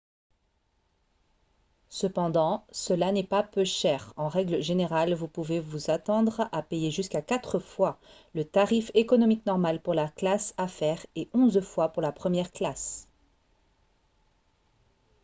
cependant cela n'est pas peu cher en règle générale vous pouvez vous attendre à payer jusqu'à quatre fois le tarif économique normal pour la classe affaire et onze fois pour la première classe